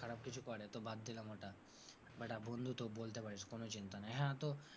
খারাপ কিছু করে, তো বাদ দিলাম ওটা but বন্ধু তো বলতে পারিস কোন চিন্তা নেই। হ্যাঁ তো,